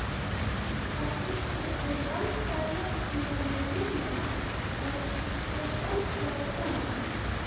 Það byggir á valdajafnvægi kynjanna og sjálfræði kvenna.